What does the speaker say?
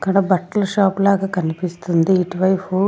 ఇక్కడ బట్టల షాప్ లాగా కనిపిస్తుంది ఇటువైపు.